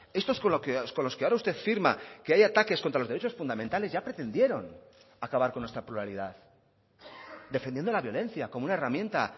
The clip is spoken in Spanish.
estos con los que ahora usted firma que hay ataques contra los derechos fundamentales ya pretendieron acabar con nuestra pluralidad defendiendo la violencia como una herramienta